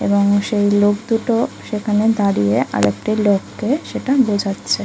এবং সেই লোক দুটো সেখানে দাঁড়িয়ে আর একটি লোককে সেটা বোঝাচ্ছে।